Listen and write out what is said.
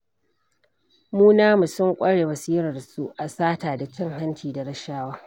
Mu namu sun ƙure basirarsu a sata da cin hanci da rashawa.